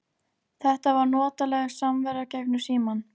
Þetta var notaleg samvera gegnum símann.